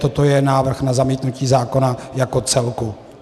Toto je návrh na zamítnutí zákona jako celku.